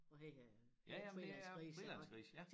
Og her er lidt frilandsgrise iggå